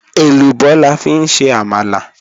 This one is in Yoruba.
Ẹlúbọ̀ làfi n ṣe àmàlà